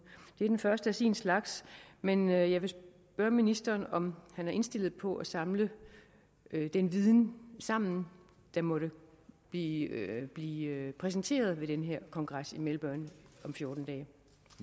første af sin slags men jeg vil spørge ministeren om han er indstillet på at samle den viden sammen der måtte blive blive præsenteret på den her kongres i melbourne om fjorten dage